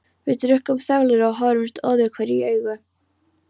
Við drukkum þöglir og horfðumst öðruhverju í augu.